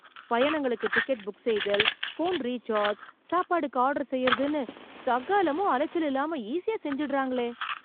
பயணங்களுக்கு ticket book செய்தல், phone recharge, சாப்பாடுக்கு ஆர்டர் செய்றதுன்னு, சகலமும் அலச்சல் இல்லாம, ஈஸியா செஞ்சுடறாங்களே...